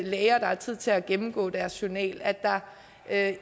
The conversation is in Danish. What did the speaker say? læger der har tid til at gennemgå deres journal at